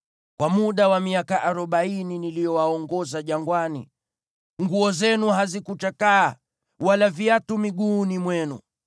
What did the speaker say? Kwa muda wa miaka arobaini niliyowaongoza jangwani, nguo zenu hazikuchakaa, wala viatu miguuni mwenu.